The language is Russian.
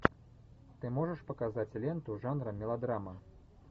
ты можешь показать ленту жанра мелодрама